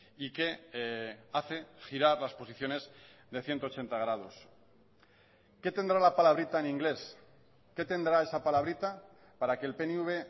y que hace girar las posiciones de ciento ochenta grados qué tendrá la palabrita en inglés qué tendrá esa palabrita para que el pnv